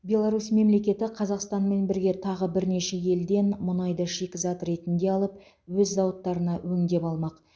беларусь мемлекеті қазақстанмен бірге тағы бірнеше елден мұнайды шикізат ретінде алып өз зауыттарына өңдеп алмақ